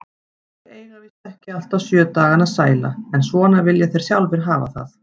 Þeir eiga víst ekki alltaf sjö dagana sæla, en svona vilja þeir sjálfir hafa það.